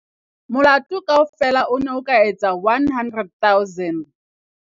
Molato kaofela o ne o ka etsa R100 000.